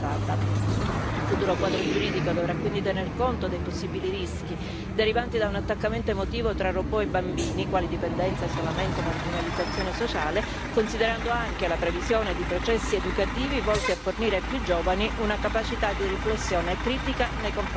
Il futuro quadro giuridico dovrà quindi tener conto dei possibili rischi derivanti da un attaccamento emotivo tra robot e bambini quali dipendenza, isolamento, marginalizzazione sociale, considerando anche la previsione di processi educativi volti a fornire ai più giovani una capacità di riflessione critica nei confronti dei robot.